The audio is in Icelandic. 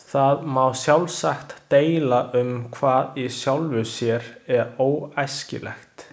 Það má sjálfsagt deila um hvað í sjálfu sér er óæskilegt.